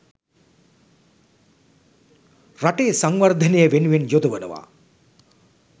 රටේ සංවර්ධනය වෙනුවෙන් යොදවනවා.